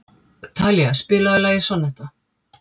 Talía, spilaðu lagið „Sonnetta“.